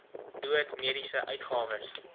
dood mediese uitgawes